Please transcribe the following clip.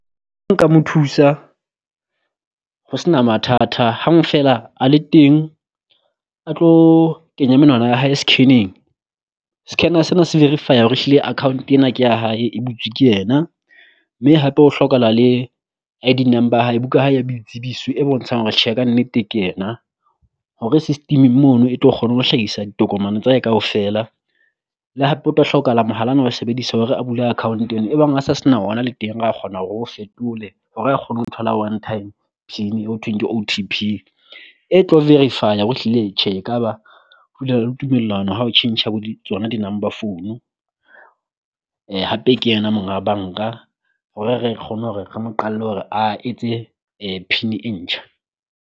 Nka mo thusa ho sena mathata hang feela a le teng a tlo kenya menwana ya hae scan-eng, scanner sena se verify-a re hore ehlile account ena ke ya hae e butswe ke yena, mme hape ho hlokahala le I_D number ya hae buka ya boitsebiso e bontshang hore tjhe kannete ke yena. Hore system-eng mono e tlo kgona ho hlahisa ditokomane tsa hae kaofela, le hape o tlo hlokahala mohala o na o sebedisa hore a bule account ena e bang a sa sena ona le teng ra kgona ro fetole hore a kgone ho thola one time Pin eo thweng ke O_T_P e tlo verifya hore ehlile tjhe ekaba le tumellano ha o tjhentjha bo di tsona di number phone. Hape ke yena monga banka hore re kgone hore re mo qalle hore a etse pin e ntjha.